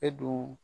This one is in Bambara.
E dun